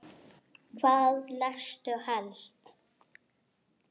Hvað lestu helst?